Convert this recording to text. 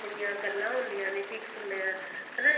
ਆਪਣੀਆ ਗੱਲਾਂ ਹੁੰਦੀਆਂ ਨੇ cheeks ਹੁੰਦੇ ਏ ਹਨਾ